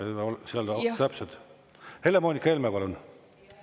Helle-Moonika Helme, palun!